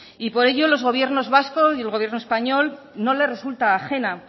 y por ello a los gobiernos vasco y español no les resulta ajena